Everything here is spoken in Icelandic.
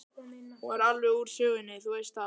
Hún er alveg úr sögunni, þú veist það.